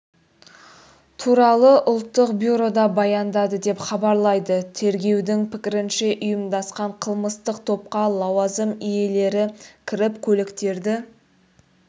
туралы ұлттық бюрода баяндады деп хабарлайды тергеудің пікірінше ұйымдасқан қылмыстық топқа лауазым иелері кіріп көліктерді